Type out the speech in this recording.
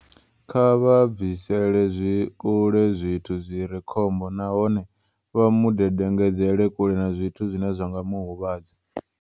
"Kha vha bvisele kule zwithu zwi re khombo nahone vha mu dedengedzele kule na zwithu zwine zwa nga mu huvhadza.